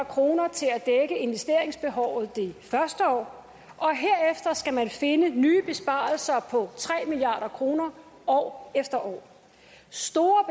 kroner til at dække investeringsbehovet det først år og herefter skal man finde nye besparelser på tre milliard kroner år efter år store